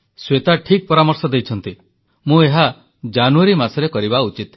ଶ୍ୱେତା ଠିକ୍ ପରାମର୍ଶ ଦେଇଛନ୍ତି ମୁଁ ଏହା ଜାନୁୟାରୀ ମାସରେ କରିବା ଉଚିତ